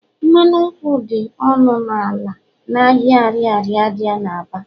mmanụ nkwụ dị ọnụ ala n'ahịa Ariaria dị n'Aba